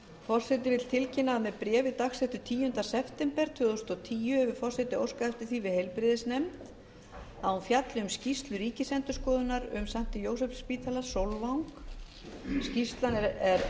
forseti vill tilkynna að með bréfi dagsettu tíunda september tvö þúsund og tíu hefur forseti óskað eftir því við heilbrigðisnefnd að hún fjalli um skýrslu ríkisendurskoðunar um st jósefsspítala sólvang skýrslan er